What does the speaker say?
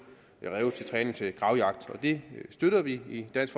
ræve til træning til gravjagt og det støtter vi i dansk